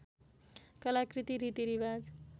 कलाकृति रीतिरिवाज